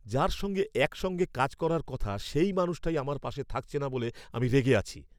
যার সঙ্গে একসঙ্গে কাজ করার কথা সেই মানুষটাই আমার পাশে থাকছে না বলে আমি রেগে আছি।